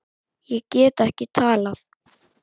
Ég get ekki talað.